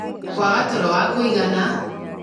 kwaga toro wa kũigana